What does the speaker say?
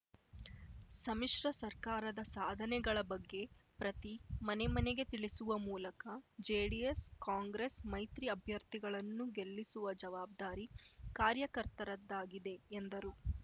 ಸಮ್ಮಿಶ್ರ ಸರ್ಕಾರದ ಸಾಧನೆಗಳ ಬಗ್ಗೆ ಪ್ರತಿ ಮನೆ ಮನೆಗೆ ತಿಳಿಸುವ ಮೂಲಕ ಜೆಡಿಎಸ್ಕಾಂಗ್ರೆಸ್ ಮೈತ್ರಿ ಅಭ್ಯರ್ಥಿಗಳನ್ನು ಗೆಲ್ಲಿಸುವ ಜವಾಬ್ದಾರಿ ಕಾರ್ಯಕರ್ತರದ್ದಾಗಿದೆ ಎಂದರು